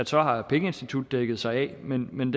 så har pengeinstituttet dækket sig ind men men